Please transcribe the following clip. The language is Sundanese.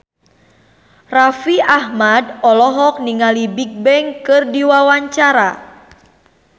Raffi Ahmad olohok ningali Bigbang keur diwawancara